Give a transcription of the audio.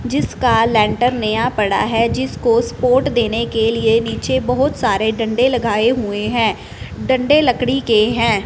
जिसका लेंटर नया पड़ा है जिसको स्पोर्ट देने के लिए नीचे बहुत सारे डंडे लगाए हुए हैं डंडे लकड़ी के हैं।